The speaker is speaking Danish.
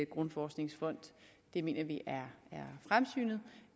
grundforskningsfond det mener vi